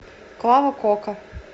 клава кока